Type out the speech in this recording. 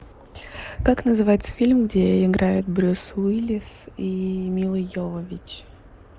как называется фильм где играют брюс уиллис и мила йовович